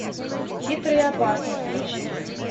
хитрый и опасный включи